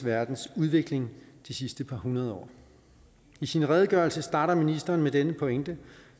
verdens udvikling de sidste par hundrede år i sin redegørelse starter ministeren med denne pointe